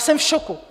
Jsem v šoku.